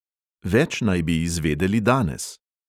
Več naj bi izvedeli danes.